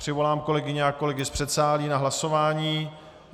Přivolám kolegyně a kolegy z předsálí na hlasování.